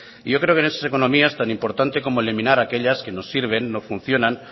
y yo creo que en esas economías tan importante como eliminar aquellas que no sirven no funcionan